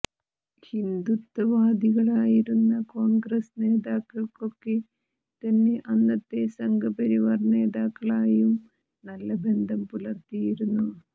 ഹിന്ദുത്വ വാദികളായിരുന്ന കോൺഗ്രസ്സ് നേതാക്കൾക്കൊക്കെ തന്നെ അന്നത്തെ സംഘ പരിവാർ നേതാക്കളായും നല്ല ബന്ധം പുലർത്തിയിരുന്നു